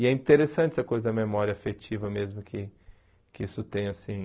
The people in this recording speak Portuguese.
E é interessante essa coisa da memória afetiva mesmo, que que isso tem assim...